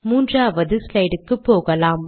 மூன்றாவது ஸ்லைடுக்கு போகலாம்